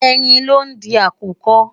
Ẹyin lo ń di àkùkọ.